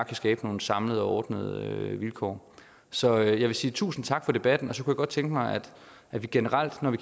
kan skabe nogle samlede og ordnede vilkår så jeg vil sige tusind tak for debatten og så kunne jeg godt tænke mig at vi generelt når vi